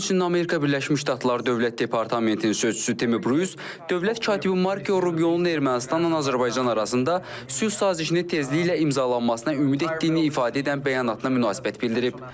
Həmçinin Amerika Birləşmiş Ştatları dövlət departamentinin sözçüsü Tim Brus dövlət katibi Mark Rubionun Ermənistanla Azərbaycan arasında sülh sazişini tezliklə imzalanmasına ümid etdiyini ifadə edən bəyanatına münasibət bildirib.